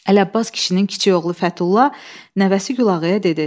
Ələbbas kişinin kiçik oğlu Fəthullah nəvəsi Gülağaya dedi.